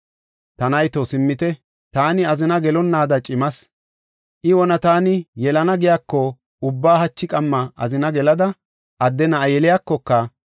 Ta nayto simmite, taani azina gelonnaada cimas. I wona taani yelana giyako ubba hachi qamma azina gelada adde na7a yeliyakoka,